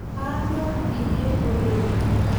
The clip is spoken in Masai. Kaanyorr iyie oleng'